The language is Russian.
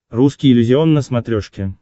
русский иллюзион на смотрешке